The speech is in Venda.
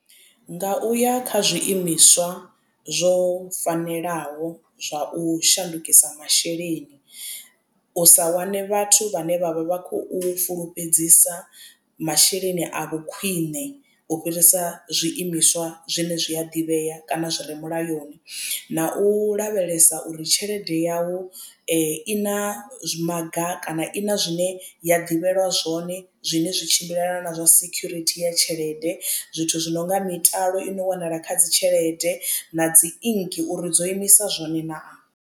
Nga u ya kha zwiimiswa zwo fanelaho zwa u shandukisa masheleni u sa wane vhathu vhane vhavha vha khou fulufhedzisa masheleni a vhu khwiṋe u fhirisa zwiimiswa zwine zwi a ḓivhea kana zwi re mulayoni na u lavhelesa uri tshelede yau i na maga kana i na zwine ya ḓivhelwa zwone zwine zwi tshimbilelana na zwa sekhurithi ya tshelede zwithu zwi nonga mitalo i no wanala kha dzi tshelede na dzi inki uri dzo imisa zwone naa.